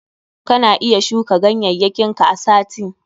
Kana iya shuka ganyayyakin ka a sati.